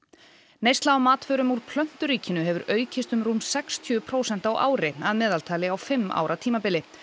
neysla á matvörum úr plönturíkinu hefur aukist um rúm sextíu prósent á ári að meðaltali á fimm ára tímabili